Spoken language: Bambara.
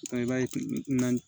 i b'a ye naani